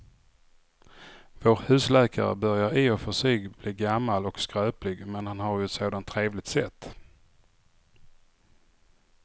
Vår husläkare börjar i och för sig bli gammal och skröplig, men han har ju ett sådant trevligt sätt!